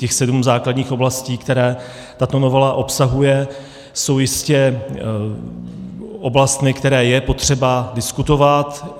Těch sedm základních oblastí, které tato novela obsahuje, jsou jistě oblasti, které je potřeba diskutovat.